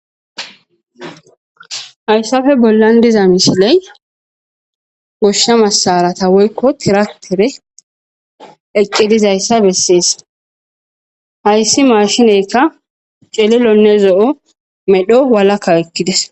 hayssafe bollan diza mishiley goshsha masarata woykko tiratere eqcidizayssa bessees hayssi maashineyka celilonne zo7o medho walakka ekkides